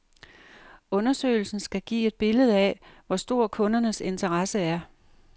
Undersøgelsen skal give et billede af, hvor stor kundernes interesse er.